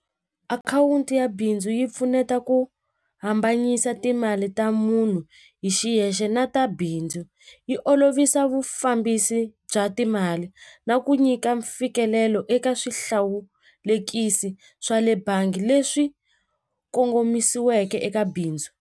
Akhawunti ya bindzu yi pfuneta ku hambanyisa timali ta munhu hi xiyexe na ta bindzu yi olovisa vufambisi bya timali na ku nyika mfikelelo eka swihlawulekisi swa le bangi leswi kongomisiweke eka bindzu.